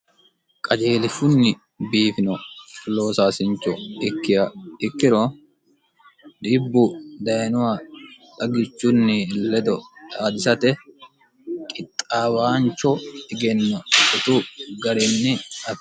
qajielishunni biifino loosaasincho ikki ikkiro dhibbu dayinowa dhaggichunni ledo xaadisate qixxaawaancho egenno shotu garinni ate